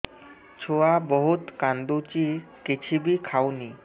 ଛୁଆ ବହୁତ୍ କାନ୍ଦୁଚି କିଛିବି ଖାଉନି